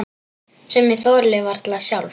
Sem ég þoli varla sjálf.